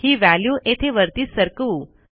ही value येथे वरती सरकवू